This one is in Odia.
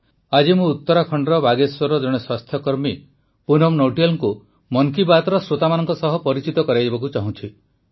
ଆଜି ମୁଁ ଉତ୍ତରାଖଣ୍ଡର ବାଗେଶ୍ୱରର ଜଣେ ସ୍ୱାସ୍ଥ୍ୟକର୍ମୀ ପୁନମ ନୌଟିଆଲଙ୍କୁ ମନ କି ବାତ୍ର ଶ୍ରୋତାମାନଙ୍କ ସହ ପରିଚିତ କରାଇବାକୁ ଚାହୁଁଛି